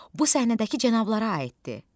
Bu səhnədəki cənablara aiddir.